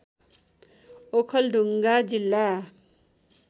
ओखलढुङ्गा जिल्ला